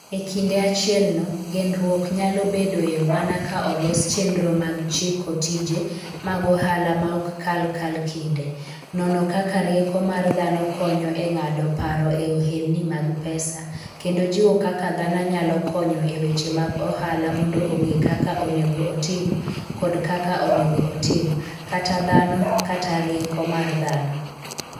E kinde achielno, genruok nyalo bedoe mana ka olos chenro mag chiko tije mag ohala ma ok kal kal kal kinde, nono kaka rieko mar dhano konyo e ng'ado paro e ohelni mag pesa, kendo jiwo kaka dhano nyalo konyo e weche mag ohala mondo ong'e kaka onego otim kod kaka onego otim (kata dhano kata rieko mar dhano).